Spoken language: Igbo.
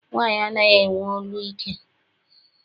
Nwaanyị anaghị enwe olu ike.